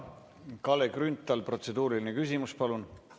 Kalle Grünthal, protseduuriline küsimus, palun!